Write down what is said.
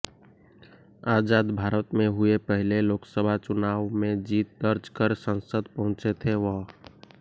आज़ाद भारत में हुए पहले लोकसभा चुनाव में जीत दर्ज कर संसद पहुंचे थे वह